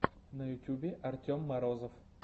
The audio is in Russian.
на ютюбе артем морозов